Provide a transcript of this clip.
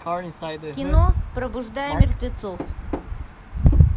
кино пробуждая мертвецов